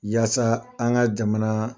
Waasa an ka jamana